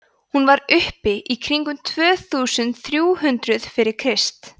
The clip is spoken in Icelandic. hún var uppi í kringum tvö þúsund þrjú hundruð fyrir krist